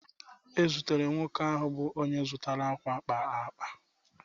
E zutere nwoke ahụ bụ onye zụtara ákwà kpara akpa